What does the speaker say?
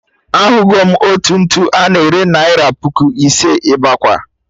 Ahụgo m otu ntu a na-ere naira puku ise, Imakwa!